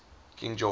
king george